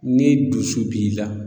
Ni dusu b'i la